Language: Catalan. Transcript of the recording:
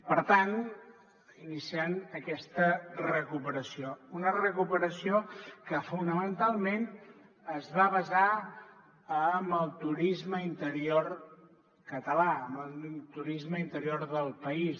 per tant iniciant aquesta recuperació una recuperació que fonamentalment es va basar en el turisme interior català en el turisme interior del país